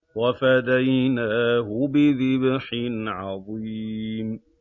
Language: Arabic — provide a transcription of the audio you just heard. وَفَدَيْنَاهُ بِذِبْحٍ عَظِيمٍ